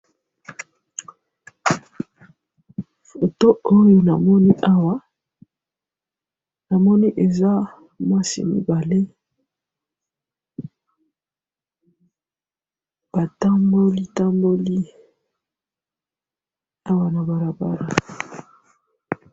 Foto oyo namoni awa, namoni eza basi mibale, batamboli tamboli awa nabalabala.